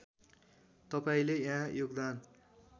तपाईँले यहाँ योगदान